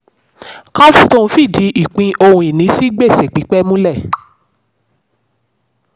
capstone fìdí ìpín ohun-ìní sí gbèsè pípẹ́ múlẹ̀.